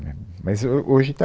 Né, Mas ho, hoje está